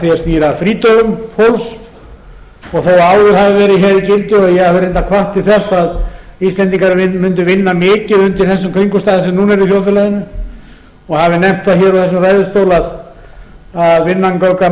því er snýr að frídögum fólks og þó áður hafi verið hér í deildinni og ég hef reyndar hvatt til þess að íslendingar mundu vinna mikið undir þessum kringumstæðum sem nú eru í þjóðfélaginu og hafi nefnt það úr þessum ræðustól að vinnan göfgar